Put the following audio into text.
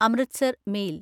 Amritsar mail